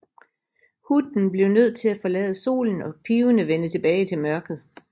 Hunden blev nødt til at forlade solen og pivende vende tilbage til mørket